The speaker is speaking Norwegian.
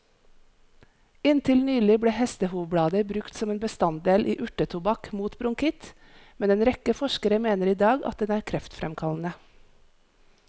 Inntil nylig ble hestehovblader brukt som en bestanddel i urtetobakk mot bronkitt, men en rekke forskere mener i dag at den er kreftfremkallende.